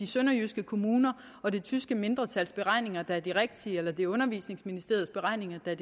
sønderjyske kommuner og det tyske mindretals beregninger der er de rigtige eller det er undervisningsministeriets beregninger der